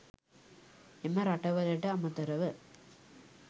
එම රටවලට අමතරව